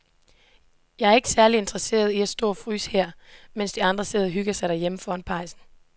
Jeg er ikke særlig interesseret i at stå og fryse her, mens de andre sidder og hygger sig derhjemme foran pejsen.